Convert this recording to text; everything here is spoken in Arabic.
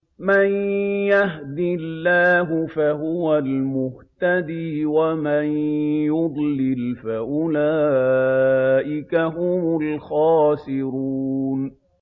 مَن يَهْدِ اللَّهُ فَهُوَ الْمُهْتَدِي ۖ وَمَن يُضْلِلْ فَأُولَٰئِكَ هُمُ الْخَاسِرُونَ